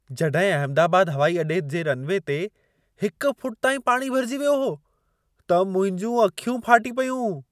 जॾहिं अहमदाबाद हवाई अॾे जे रनवे ते हिक फुट ताईं पाणी भरिजी वियो हो, त मुंहिंजूं अखियूं फाटी पयूं।